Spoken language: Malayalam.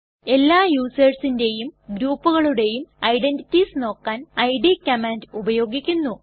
എല്ലാ യുസെർസിന്റെയും ഗ്രൂപ്കളുടെയു ഐഡന്റിറ്റീസ് നോക്കാൻ ഇഡ് - കമാൻഡ് ഉപയോഗിക്കുന്നു